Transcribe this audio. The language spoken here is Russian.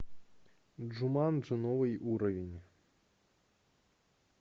джуманджи новый уровень